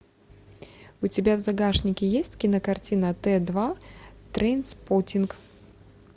у тебя в загашнике есть кинокартина т два трейнспоттинг